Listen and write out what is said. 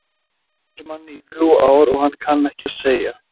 Þú kennir manni í þrjú ár og hann kann ekki að segja